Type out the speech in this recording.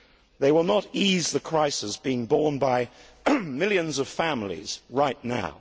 They will not ease the crisis being borne by millions of families right now.